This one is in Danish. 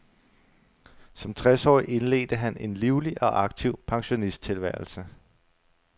Som tres årig indledte han en livlig og aktiv pensionisttilværelse.